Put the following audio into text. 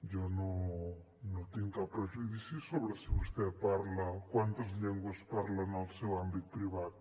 jo no tinc cap prejudici sobre quantes llengües parla en el seu àmbit privat